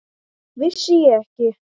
Vissi ég ekki!